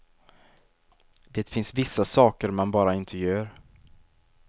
Det finns vissa saker man bara inte gör.